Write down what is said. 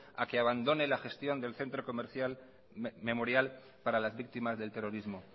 a que abandone la gestión del centro comercial memorial para las víctimas del terrorismo